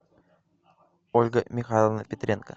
ольга михайловна петренко